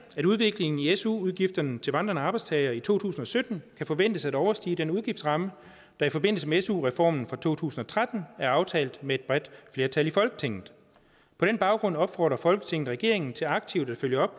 at udviklingen i su udgifterne til vandrende arbejdstagere i to tusind og sytten kan forventes at overstige den udgiftsramme der i forbindelse med su reformen fra to tusind og tretten er aftalt med et bredt flertal i folketinget på den baggrund opfordrer folketinget regeringen til aktivt at følge op